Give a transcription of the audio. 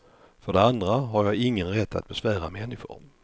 För det andra har jag ingen rätt att besvära människor.